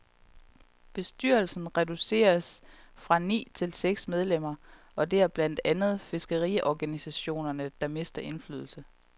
Bestyrelsen reduceres fra ni til seks medlemmer, og det er blandt andet fiskeriorganisationerne, der mister indflydelse.